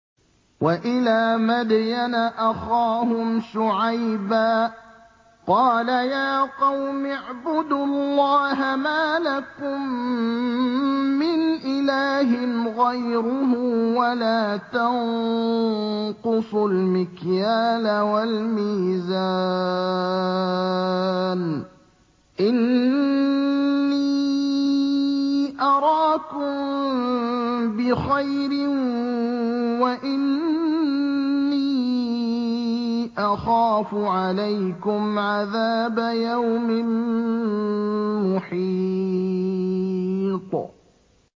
۞ وَإِلَىٰ مَدْيَنَ أَخَاهُمْ شُعَيْبًا ۚ قَالَ يَا قَوْمِ اعْبُدُوا اللَّهَ مَا لَكُم مِّنْ إِلَٰهٍ غَيْرُهُ ۖ وَلَا تَنقُصُوا الْمِكْيَالَ وَالْمِيزَانَ ۚ إِنِّي أَرَاكُم بِخَيْرٍ وَإِنِّي أَخَافُ عَلَيْكُمْ عَذَابَ يَوْمٍ مُّحِيطٍ